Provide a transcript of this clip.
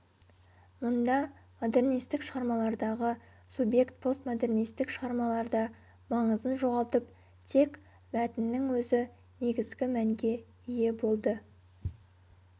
мұнда модернистік шығармалардағы субъект постмодернистік шығармаларда маңызын жоғалтып тек мәтіннің өзі негізгі мәнге ие болды